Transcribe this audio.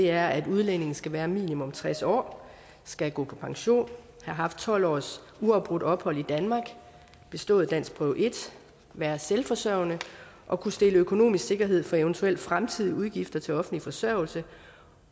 er at udlændingen skal være minimum tres år skal gå på pension have haft tolv års uafbrudt ophold i danmark bestået danskprøve en være selvforsørgende og kunne stille økonomisk sikkerhed for eventuelle fremtidige udgifter til offentlig forsørgelse